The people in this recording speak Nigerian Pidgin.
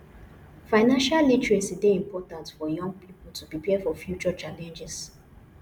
financial literacy dey important for young people to prepare for future challenges